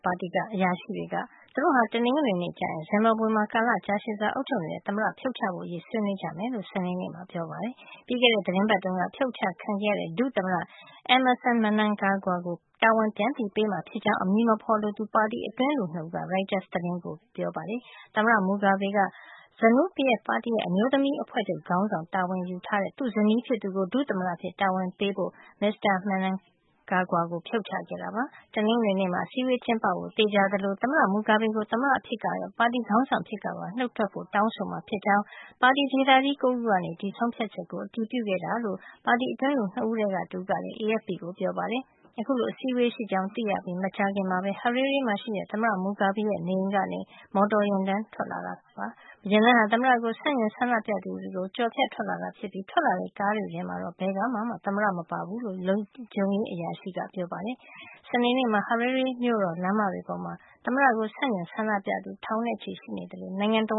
ပါတီက အရာရှိတွေက သူတို့ဟာ တနင်္ဂနွေနေ့ကျရင် ဇင်ဘာဘွေမှာ ကာလကြာရှည်စွာ အုပ်ချုပ်နေတဲ့ သမ္မတကို ဖြုတ်ချဖို့အရေး ဆွေးနွေးကြမယ်လို့ စနေနေ့မှာ ပြောပါတယ်။ ပြီးခဲ့တဲ့ သီတင်းပတ်တုန်းက ဖြုတ်အချခံခဲ့ရတဲ့ ဒုသမ္မတ Emmerson Mnangagwa ကို တာဝန်ပြန်ပေးမှာဖြစ်ကြောင်း အမည်မဖေါ်လိုသူ ပါတီအတွင်းလူ ၂ ဦးက ရိုက်တားစ် သတင်းကို ပြောကြောင်း ဖေါ်ပြထားပါတယ်။ သမ္မတ Mugabe က ZANU-PF ပါတီရဲ့ အမျိုးသမီးအဖွဲ့ချုပ် ခေါင်းဆောင် တာဝန်ယူထားတဲ့ သူ့ဇနီးဖြစ်သူကို ဒုသမ္မတအဖြစ် တာဝန်ပေးဖို့အတွက် မစ္စတာ Mnangagwa ကို ဖြုတ်ပစ်ခဲ့တာ ဖြစ်ပါတယ်။ တနင်္ဂနွေနေ့မှာ အစည်းဝေးကျင်းပဖို့ သေချာသလို သမ္မတ Mugabe ကို သမ္မတအဖြစ် ကရော ပါတီခေါင်းဆောင်အဖြစ်ကပါ နှုတ်ထွက်ဖို့ တောင်းဆိုမှာ ဖြစ်ကြောင်း ပါတီဒေသကြီး ၉ ခုကနေ ဒီဆုံးဖြတ်ချက်ကို အတည်ပြုခဲ့တာလို့ ပါတီအတွင်းလူ ၂ ဦးထဲက တဦးကလည်း AFP ကိုပြောပါတယ်။ အခုလို အစည်းဝေးရှိကြောင်း သိရပြီး မကြာခင်မှာပဲ Harare မှာရှိတဲ့ သမ္မတ Mugabe ရဲ့နေအိမ်ကနေ မော်တော်ယာဉ်တန်းထွက်လာတာပါ။ ယာဉ်တန်းဟာ သမ္မတကို ဆန့်ကျင်ဆန္ဒပြသူတွေကို ကျော်ဖြတ် ထွက်လာတာဖြစ်ပြီး ထွက်လာတဲ့ ကားတွေထဲမှာ ဘယ်ကားထဲမှာမှ သမ္မတ မပါဘူးလို့ လုံခြုံရေး အရာရှိတဦးက ပြောပါတယ်။ စနေနေ့မှာ Harare မြို့တော် လမ်းမတွေပေါ်မှာ သမ္မတကို ဆန့်ကျင် ဆန္ဒပြသူ ထောင်နဲ့ချီ ရှိနေသလို နိုင်ငံတ